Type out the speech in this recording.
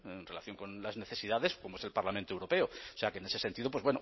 en relación con las necesidades como es el parlamento europeo o sea que en ese sentido pues